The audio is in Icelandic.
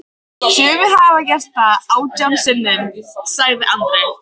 Sumir hafa gert það átján sinnum, sagði Andri.